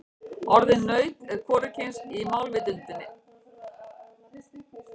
Orðið naut er hvorugkyns í málvitundinni.